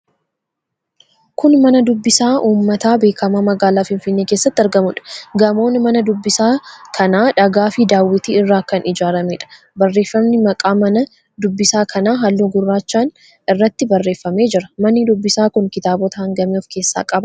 Kun mana dubbisaa uummataa beekamaa magaalaa Finfinnee keessatti argamuudha. Gamoon mana dubbisaa kanaa dhagaafi daawwitii irraa kan ijaarameedha. Barreeffamni maqaa mana dubbisaa kanaa halluu gurraachaan irratti barreeffamee jira. Manni dubbisaa kun kitaabota hangamii of keessaa qaba?